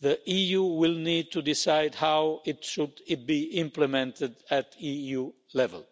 the EU will need to decide how it should be implemented at EU level.